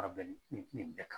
Ka bɛn nin nin bɛɛ kan